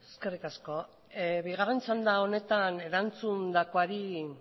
eskerrik asko bigarren txanda honetan erantzundakoari